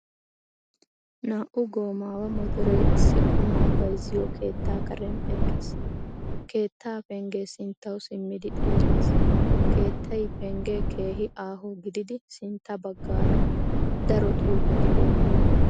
Naa'u goomaawa motoree issi qumaa bayzziyo keettaa karen eqqiis. Keettaa penggee sinttawu simmidi xeellees. Keettay penggee keehi aaho gididi sintta baggaara daro xuufrti beettoosona.